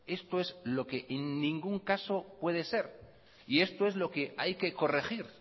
esto es lo que en ningún caso puede ser y esto es lo que hay que corregir